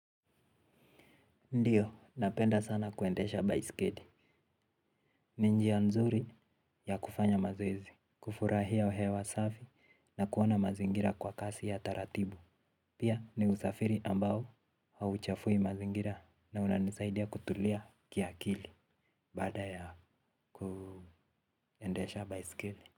Ndiyo, napenda sana kuendesha baiskeli. Ni njia nzuri ya kufanya mazoezi, kufurahia hewa safi na kuona mazingira kwa kasi ya taratibu. Pia ni usafiri ambao hauchafui mazingira na unanisaidia kutulia kiakili baada ya kuendesha baiskeli.